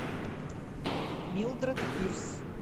милдред пирс